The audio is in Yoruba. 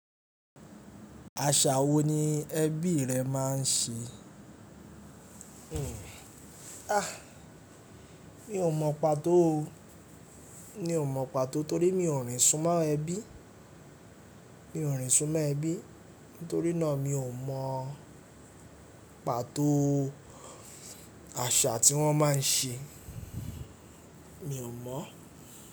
Àṣà wo ni ẹbí rẹ máa ń ṣe? Mi ò mọ pàtó o. Mi ò mọ pàtó torí mi ò ríń sún mọ́ ẹbí. Mi ò ríń sún mọ́ ẹbí, nítorí náà mi ò mọ pàtó àṣà tí wọ́n máa ń ṣe. Mi ò mọ̀.